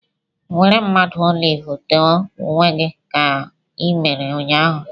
Were mmanụ olive te onwe gị dị ka i mere ụnyahụ!